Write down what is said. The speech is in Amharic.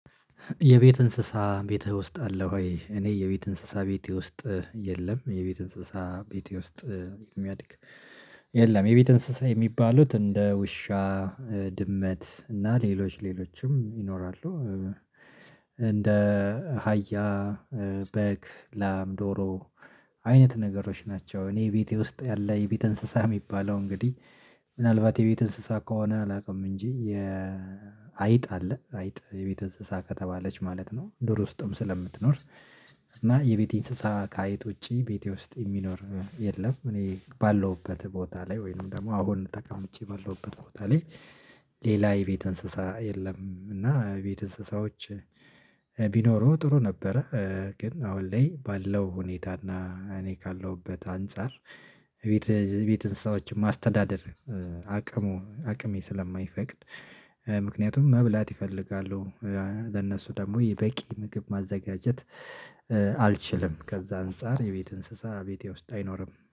የቤት እንስሳ ቤትህ ውስጥ አለ ወይ? እኔ የቤት እንስሳ ቤትህ ውስጥ የለም። የቤት እንስሳ ቤቴ ውስጥ የሚያድግ የለም። የቤት እንስሳ የሚባሉት እንደ ውሻ ድመት እና ሌሎች ሌሎችም ይኖራሉ። እንደ አህያ በግ ላም ዶሮ አይነት ነገሮች ናቸው። እኔ ቤቴ ውስጥ ያለ የቤት እንስሳ የሚባለው እንግዲህ ምናልባት የቤት እንስሳ ከሆነ አላውቅም። እንጂ የ አይጥ አለ አይጥ የቤት እንስሳ ከተባለች ማለት ነው። ዱር ውስጥም ስለምትኖር እና የቤቴ እንስሳ ከአይጥ ውጪ ቤቴ ውስጥ የሚኖር የለም። እኔ ባለሁበት ቦታ ላይ ወይንም ደግሞ አሁን ተቀምጬ ባለሁበት ቦታ ላይ ሌላ የቤት እንስሳ የለም። እና ቤት እንስሳዎች ቢኖሩ ጥሩ ነበረ። ግን አሁን ላይ ባለው ሁኔታና እኔ ካለሁበት አንፃር ቤት ቤት እንስሳዎችም አስተዳደር። አቅሜ ስለማይፈቅድ ምክንያቱም መብላት ይፈልጋሉ ለእነሱ ደግሞ የበቂ ምግብ ማዘጋጀት አልችልም። ከዛ አንፃር የቤት እንስሳ ቤቴ ውስጥ አይኖርም